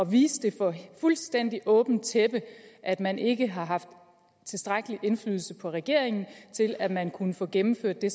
vise for fuldstændig åbent tæppe at man ikke har haft tilstrækkelig indflydelse på regeringen til at man kunne få gennemført det